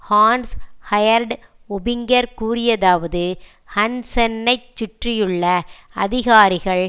ஹன்ஸ் ஹெயர்டு ஓபிங்கர் கூறியதாவது ஹன்சென்னைச் சுற்றியுள்ள அதிகாரிகள்